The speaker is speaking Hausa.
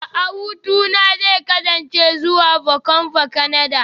A'a hutuna zai kasance zuwa Vancouver, Kanada